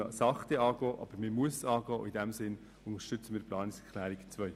Man muss dieses Thema mit der nötigen Sorgfalt angehen.